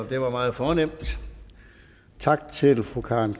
det var meget fornemt tak til fru karen